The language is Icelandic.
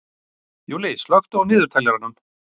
Júlli, slökktu á niðurteljaranum.